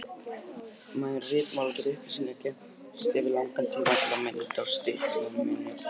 Með ritmáli geta upplýsingar geymst yfir langan tíma, til að mynda á styttum og minnismerkjum.